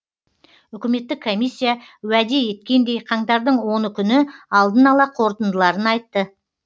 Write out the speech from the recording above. үкіметтік комиссия уәде еткендей қаңтардың оны күні алдын ала қорытындыларын айтты